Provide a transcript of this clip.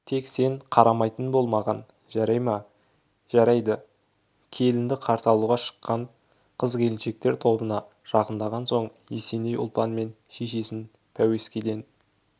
тек сен қарамайтын бол маған жарай ма жарайды келінді қарсы алуға шыққан қыз-келіншектер тобына жақындаған соң есеней ұлпан мен шешесін пәуескеден